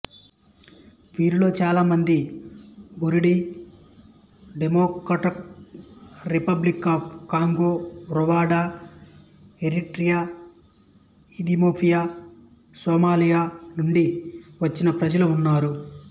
వీరిలో చాలామంది Burundi Democratic Republic of Congo Rwanda Eritrea Ethiopia Somalia నుండి వచ్చిన ప్రజలు ఉన్నారు